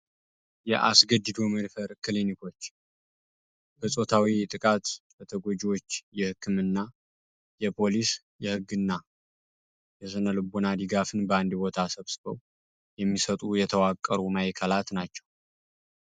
የአስገድዶ መድፈር ክሊኒኮች በፆታዊ ጥቃት ለተጎጂዎች የህክምና ፣የፓሊስ ፣የህግ እና የስነልቦና ድጋፍን በአንድ ቦታ ሰብስበው የሚሰጡ የተዋቀሩ ማዕከላት ናቸው።